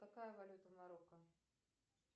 какая валюта в марокко